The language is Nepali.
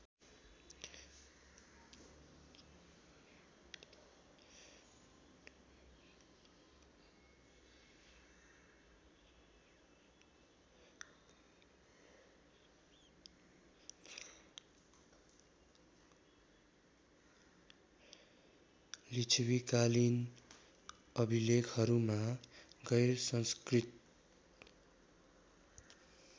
लिच्छविकालिन अभिलेखहरूमा गैरसंस्कृत